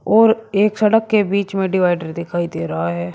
और एक सड़क के बीच में डिवाइडर दिखाई दे रहा है।